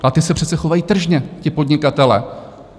A ti se přece chovají tržně, ti podnikatelé.